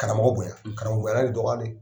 Karamɔgɔ bonya karamɔgɔ ye dɔgɔya de.